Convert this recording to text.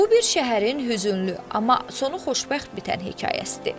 Bu bir şəhərin hüzünlü, amma sonu xoşbəxt bitən hekayəsidir.